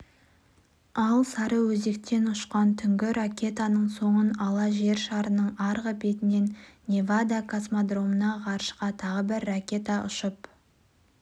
ал сарыөзектен ұшқан түнгі ракетаның соңын ала жер шарының арғы бетінен невада космодромынан ғарышқа тағы бір ракета ұшып